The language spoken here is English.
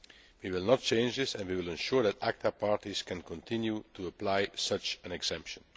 We will not change this, and we will ensure that ACTA parties can continue to apply such an exemption.